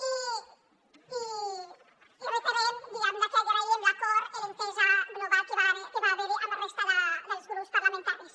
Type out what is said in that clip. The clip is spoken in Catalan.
i reiterem que agraïm l’acord i l’entesa global que va haver hi amb la resta dels grups parlamentaris